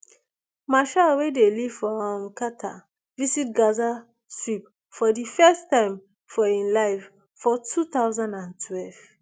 meshaal wey dey live for um qatar visit gaza strip for di first time for im life for two thousand and twelve